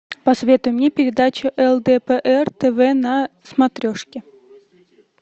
посоветуй мне передачу лдпр тв на смотрешке